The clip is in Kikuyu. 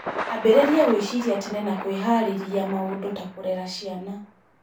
Ambĩrĩria gwĩciria tene na kwĩhaarĩria maũndũ ta kũrera ciana.